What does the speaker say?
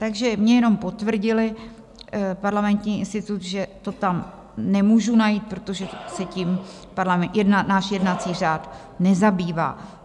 Takže mně jenom potvrdil Parlamentní institut, že to tam nemůžu najít, protože se tím náš jednací řád nezabývá.